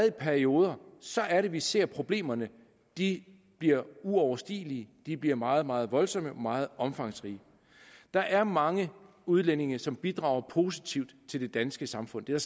i perioder så er det vi ser problemerne de bliver uoverstigelige de bliver meget meget voldsomme og meget omfangsrige der er mange udlændinge som bidrager positivt til det danske samfund det er